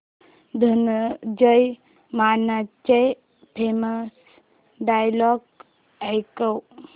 धनंजय मानेचे famous dialogue ऐकव